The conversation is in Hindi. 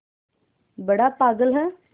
बड़ा पागल है